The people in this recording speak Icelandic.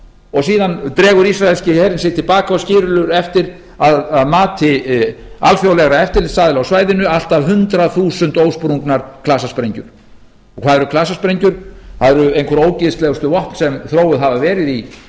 og síðan dregur ísraelski herinn sig til baka og skilur átti að mati alþjóðlegra eftirlitsaðila á svæðinu allt að hundrað þúsund ósprungnar klasasprengjur hvað eru klasasprengjur það eru einhver ógeðslegustu vopn sem þróuð hafa verið í